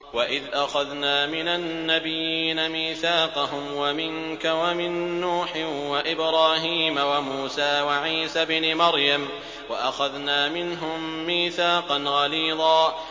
وَإِذْ أَخَذْنَا مِنَ النَّبِيِّينَ مِيثَاقَهُمْ وَمِنكَ وَمِن نُّوحٍ وَإِبْرَاهِيمَ وَمُوسَىٰ وَعِيسَى ابْنِ مَرْيَمَ ۖ وَأَخَذْنَا مِنْهُم مِّيثَاقًا غَلِيظًا